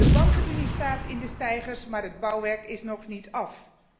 De bankenunie staat in de steigers, maar het bouwwerk is nog niet af.